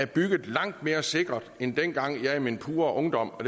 bygget langt mere sikkert end dengang jeg i min pure ungdom og